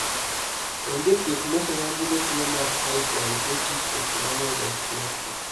Onge thieth moseyangi ne tuo mar hypohidrotic ectodermal dysplasia.